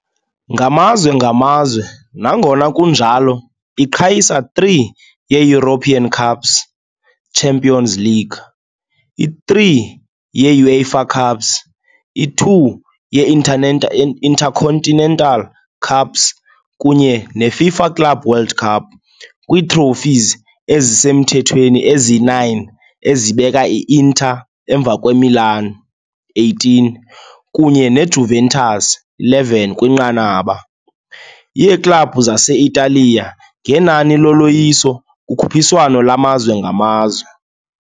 Ngamazwe ngamazwe, nangona kunjalo, iqhayisa i-3 ye-European Cups - Champions League, i-3 ye-UEFA Cups, i-2 ye -Intercontinental Cups kunye ne- FIFA Club World Cup, kwii-trophies ezisemthethweni ezi-9 ezibeka i-Inter emva kwe-Milan, 18, kunye ne-Juventus, 11, kwinqanaba. yeeklabhu zase-Italiya ngenani loloyiso kukhuphiswano lwamazwe ngamazwe.